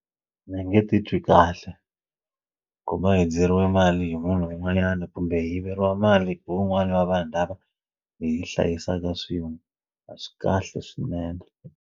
A ndzi nge titwi kahle ku va hundzeriwe mali hi munhu un'wanyana kumbe hi yiveriwa mali hi wun'wana wa vanhu lava hi hlayisaka swin'we a swi kahle swinene.